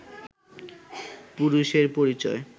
পুরুষের পরিচয়